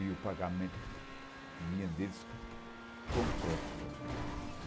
E o pagamento vinha deles completo.